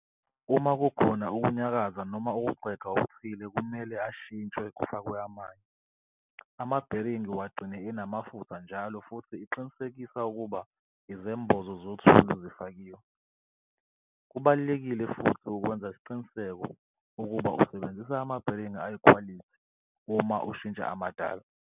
Uma kukhona ukunyakaza noma ukuxega okuthile kumele ashintshwe kufakwe amanye. Amabheringi wagcine enamafutha njalo futhi iqinisekisa ukuba izembozo zothuli zifakiwe. Kubalulekile futhi ukwenza isiqiniseko ukuba usebenzisa amabheringi ayikhwalithi uma ushintsha amadala.